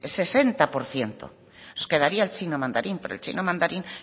sesenta por ciento nos quedaría el chino mandarín pero el chino mandarín